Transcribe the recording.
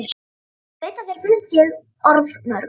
Ég veit að þér finnst ég orðmörg.